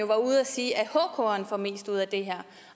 var ude at sige at hkeren får mest ud af det her